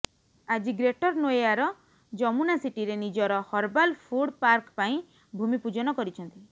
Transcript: ଆଜି ଗ୍ରେଟର ନୋଏୟାର ଯମୁନା ସିଟିରେ ନିଜର ହର୍ବାଲ ଫୁଡ ପାର୍କ ପାଇଁ ଭୂମି ପୂଜନ କରିଛନ୍ତି